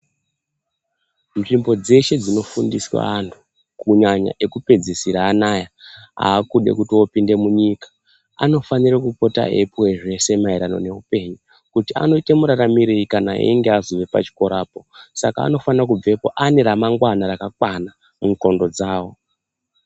Nzvimbo dzeshe dzinofundiswa vantu kunyanya ekupedzisira ano aya akude kopinde munyika, anofanire eipuwa zvose maererano neupunyu kuti anoite muraramirei kana einge azove pachikoropo. Saka anofana kubvapo aneramangwana rakakwana mundxondo dzavo.